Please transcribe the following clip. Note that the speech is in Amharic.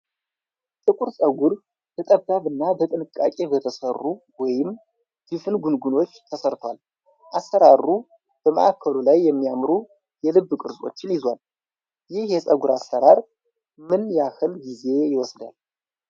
ጥቁር ፀጉሩ በጠባብ እና በጥንቃቄ በተሠሩ ወይም ድፍን ጉንጉኖች ተሠርቷል። አሠራሩ በማዕከሉ ላይ የሚያምሩ የልብ ቅርጾችን ይዟል። ይህ የፀጉር አሠራር ምን ያህል ጊዜ ይወስዳል?